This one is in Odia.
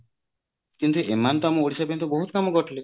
କିନ୍ତୁ ଏମାନେ ତ ଆମ ଓଡିଶା ପାଇଁ ବହୁତ କାମ କରିଥିଲେ